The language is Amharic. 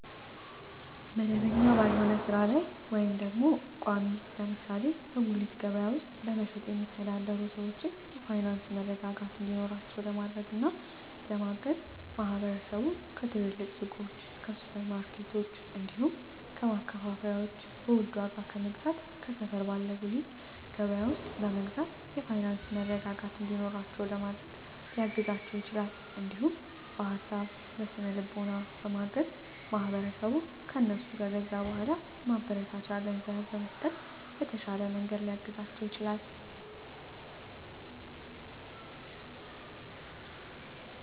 መደበኛ ባልሆነ ስራ ላይ ወይም ቋሚ (ለምሳሌ በጉሊት ገበያ ውስጥ በመሸጥ የሚተዳደሩ ሰዎችን የፋይናንስ መረጋጋት እንዲኖራቸው ለማድረግና ለማገዝ ማህበረሰቡ ከትልልቅ ሱቆች፣ ከሱፐር ማርኬቶች፣ እንዲሁም ከማከፋፈያዎች በውድ ዋጋ ከመግዛት ከሰፈር ባለ ጉሊት ገበያ ውስጥ በመግዛት የፋይናንስ መረጋጋት እንዲኖራቸው ለማድረግ ሊያግዛቸው ይችላል። እንዲሁም በሀሳብ በስነ ልቦና በማገዝ ማህበረሰቡ ከእነሱ ከገዛ በኃላ ማበረታቻ ገንዘብ በመስጠት በተሻለ መንገድ ሊያግዛቸው ይችላል።